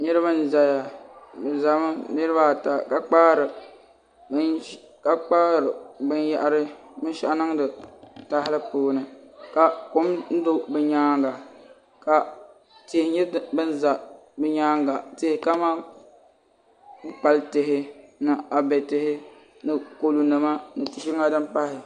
Niraba n ʒɛya niraba ata bi ʒɛmi ka kpaari binshaɣu niŋdi tahali puuni ka kom do bi nyaanga ka tihi nyɛ din ʒɛ bi nyaanga tihi kamani kpukpali tihi ni abɛ tihi ni kodu nima ni binshɛŋa din pahi